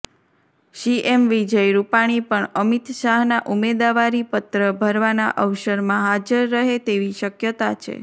CM Vijay Rupani પણ અમિત શાહના ઉમેદવારીપત્ર ભરવાના અવસરમાં હાજર રહે તેવી શકયતા છે